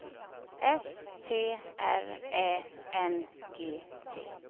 S T R Ä N G T